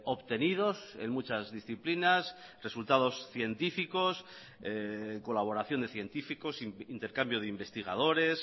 obtenidos en muchas disciplinas resultados científicos colaboración de científicos intercambio de investigadores